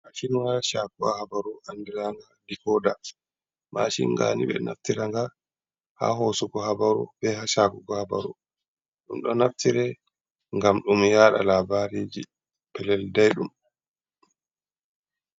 Machinwa chaakowa habaru andiranga dekoda, machin gani be naftira nga ha hoosugo habaru be ha saakugo habaru, ɗum ɗo naftire ngam ɗum yaaɗa labariji pellelji daiɗum.